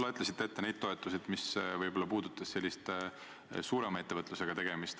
Te lugesite ette need toetused, mis puudutavad sellist suurema ettevõtlusega tegelemist.